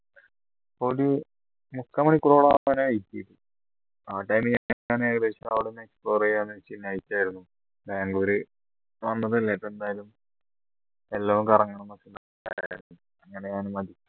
ഒരു മുക്കാമണിക്കൂറോളം ആവാനായി ഏകദേശം അവിടെ കുറേ night ആയിരുന്നു ബാംഗ്ലൂര് വന്നതല്ലേ അപ്പോ എന്തായാലും എല്ലോ ഒന്ന് കറങ്ങണം അങ്ങനെയാണ്